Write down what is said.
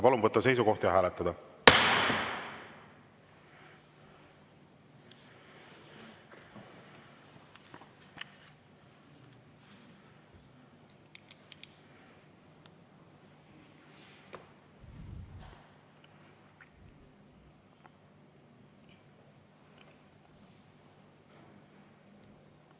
Palun võtta seisukoht ja hääletada!